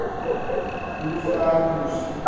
hoe ver moes